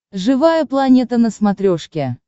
живая планета на смотрешке